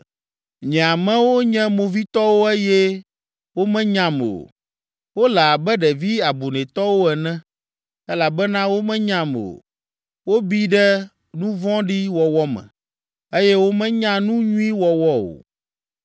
“Nye amewo nye movitɔwo eye womenyam o. Wole abe ɖevi abunɛtɔwo ene elabena womenyam o. Wobi ɖe nu vɔ̃ɖi wɔwɔ me eye womenya nu nyui wɔwɔ o.”